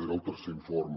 era el tercer informe